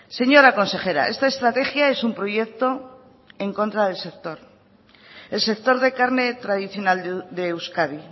señora consejera esta estrategia es un proyecto en contra del sector el sector de carne tradicional de euskadi